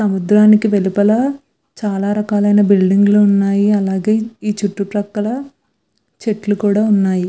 సముద్రానికి వెలుపల చాలా రకాల మైన బిల్డింగ్ ఉన్నాయి. ఈ చుట్టు పక్కన చాలా చెట్లు ఉన్నాయి.